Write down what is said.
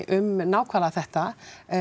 um nákvæmlega þetta